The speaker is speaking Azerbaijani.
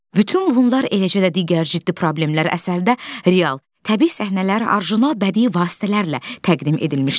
Bütün bunlar eləcə də digər ciddi problemlər əsərdə real, təbii səhnələr, orijinal bədii vasitələrlə təqdim edilmişdir.